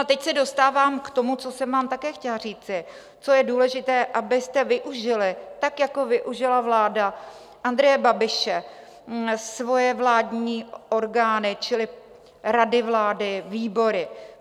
A teď se dostávám k tomu, co jsem vám také chtěla říci, co je důležité, abyste využili, tak jako využila vláda Andreje Babiše svoje vládní orgány čili rady vlády, výbory.